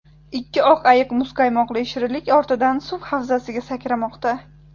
Ikki oq ayiq muzqaymoqli shirinlik ortidan suv havzasiga sakramoqda.